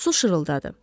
Su şırıldadı.